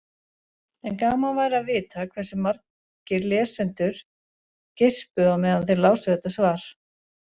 En gaman væri að vita hversu margir lesendur geispuðu á meðan þeir lásu þetta svar.